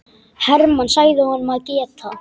Hermann sagði honum að geta.